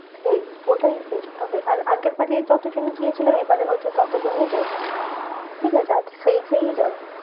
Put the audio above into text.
সেই ওটাই best তবে আর আগের বারে যতজন গিয়েছিলাম এবারে হচ্ছে তত জনেই যাবো। ঠিকাছে? আর সেই সেই যাবো।